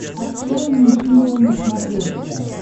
открой нейшенел на смотрешке